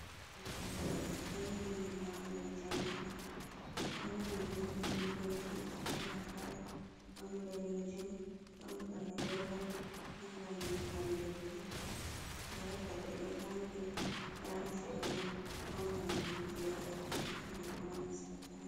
Ɓe ɗo nyiɓi nyiɓaalo jamanu ɗo fauni voɗi be pentiji kala kala ɗon danejum ɗon bana yelo ɗon bana ndiyam leddi nda daɓe ɗo tanki nda ha sera mai ɗon lambatu jei a yaɓɓititta nasta sare.